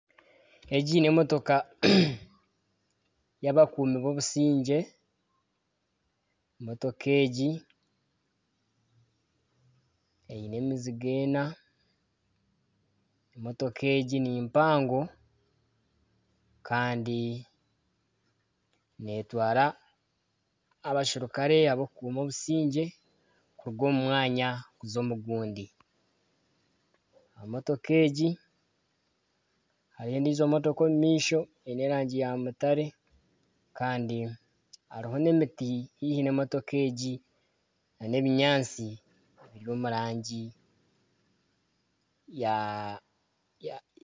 Egi n'emotoka yabakumi b'obusingye emotoka egi eine emiziga ena nimpango kandi neetwara abasirikare ab'okukuma obusingye kuruga omu mwanya kuza omu gundi. Hariyo endiijo emotoka omu maisho eine erangi ya mutare kandi hariho n'emiti haihi n'emotoka egi nana ebinyaatsi biri omu rangi ya kinyaatsi.